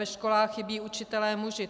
Ve školách chybí učitelé muži.